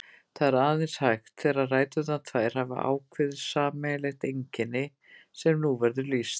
Það er aðeins hægt þegar ræturnar tvær hafa ákveðið sameiginlegt einkenni, sem nú verður lýst.